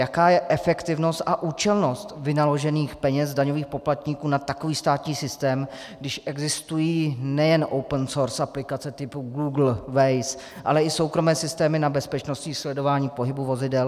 Jaká je efektivnost a účelnost vynaložených peněz daňových poplatníků na takový státní systém, když existují nejen open source aplikace typu Google, Waze, ale i soukromé systémy na bezpečnostní sledování pohybu vozidel.